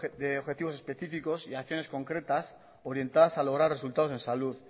de objetivos específicos y acciones concretas orientadas a lograr resultados en salud